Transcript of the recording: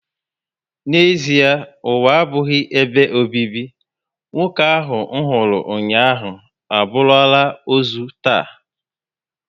N'ezịe ụwa abụghị ebe obibi, nwoke ahụ nhuru ụnyaahụ, aburula ozu taa